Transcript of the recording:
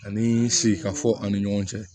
Ani sika fɔ an ni ɲɔgɔn cɛ